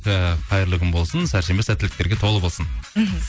ііі қайырлы күн болсын сәрсенбі сәттіліктерге толы болсын мхм